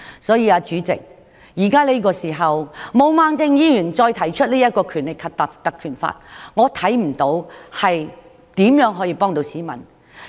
所以，主席，此時毛孟靜議員提出引用《立法會條例》，我看不出可以如何幫助市民。